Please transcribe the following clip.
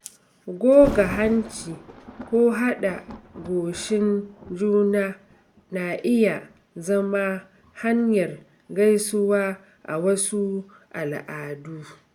Goga hanci ko haɗa goshin juna na iya zama hanyar gaisuwa a wasu al'adu.